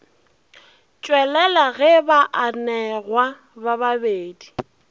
tšwelela ge baanegwa ba babedi